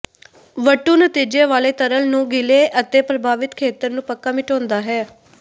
ਵੱਟੂ ਨਤੀਜੇ ਵਾਲੇ ਤਰਲ ਨੂੰ ਗਿੱਲੇ ਅਤੇ ਪ੍ਰਭਾਵਿਤ ਖੇਤਰ ਨੂੰ ਪੱਕਾ ਮਿਟਾਉਂਦਾ ਹੈ